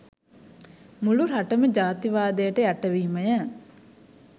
මුළු රටම ජාතිවාදයට යට වීමය